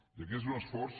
i aquest és un esforç